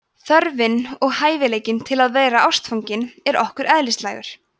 þörfin og hæfileikinn til að vera ástfangin er okkur eðlislægur